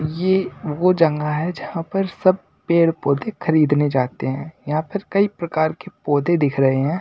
ये वो जगह है जहां पर सब पेड़-पौधे खरीदने जाते हैं यहां पर कई प्रकार के पौधे दिख रहे है।